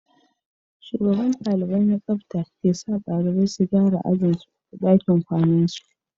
Shugaban dalibai na tsafta ke sa dalibai su gyara ajin su da dakin kwanan su